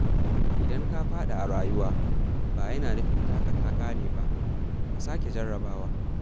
Idan ka faɗi a rayuwa, ba yana nufin taka ta ƙare ba, ka sake jarrabawa.